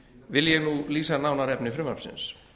vil ég nú lýsa nánar efni frumvarpsins